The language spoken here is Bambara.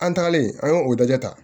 An tagalen an ye o dajɛ ta